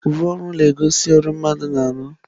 Uwe ọrụ na-egosi ọrụ mmadụ na-arụ.